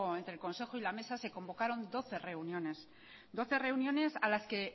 entre el consejo y la mesa se convocaron doce reuniones doce reuniones a las que